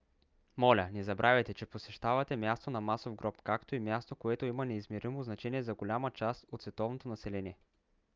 моля не забравяйте че посещавате място на масов гроб както и място което има неизмеримо значение за голяма част от световното население